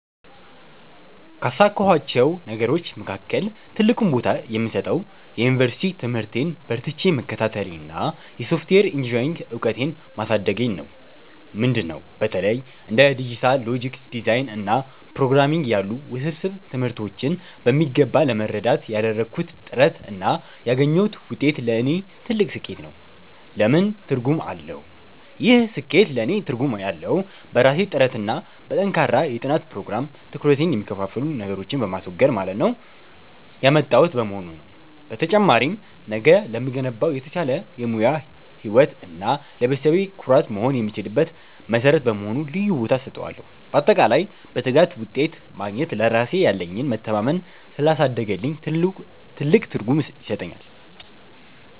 ካሳካኋቸው ነገሮች መካከል ትልቁን ቦታ የምሰጠው የዩኒቨርሲቲ ትምህርቴን በርትቼ መከታተሌንና የሶፍትዌር ኢንጂኔሪንግ እውቀቴን ማሳደጌን ነው። ምንድን ነው? በተለይ እንደ ዲጂታል ሎጂክ ዲዛይን እና ፕሮግራምንግ ያሉ ውስብስብ ትምህርቶችን በሚገባ ለመረዳት ያደረግኩት ጥረት እና ያገኘሁት ውጤት ለእኔ ትልቅ ስኬት ነው። ለምን ትርጉም አለው? ይህ ስኬት ለእኔ ትርጉም ያለው፣ በራሴ ጥረትና በጠንካራ የጥናት ፕሮግራም (ትኩረቴን የሚከፋፍሉ ነገሮችን በማስወገድ) ያመጣሁት በመሆኑ ነው። በተጨማሪም፣ ነገ ለምገነባው የተሻለ የሙያ ህይወት እና ለቤተሰቤ ኩራት መሆን የምችልበት መሠረት በመሆኑ ልዩ ቦታ እሰጠዋለሁ። ባጠቃላይ፣ በትጋት ውጤት ማግኘት ለራሴ ያለኝን መተማመን ስላሳደገልኝ ትልቅ ትርጉም ይሰጠኛል።